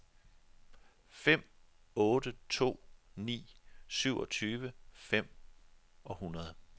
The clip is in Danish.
fem otte to ni syvogtyve fem hundrede